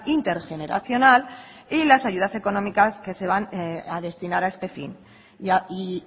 intergeneracional y las ayudas económicas que se van a destinar a este fin y